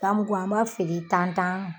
Ganmuku an b'a feere tan tan.